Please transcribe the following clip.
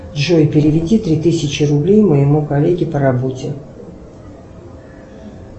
джой переведи три тысячи рублей моему коллеге по работе